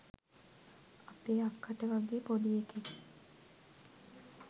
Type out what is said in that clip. අපේ අක්කට වගේ පොඩි එකෙක්?